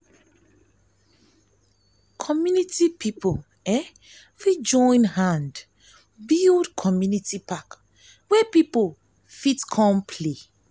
community pipo fit join hand build community park wey pipo fit come play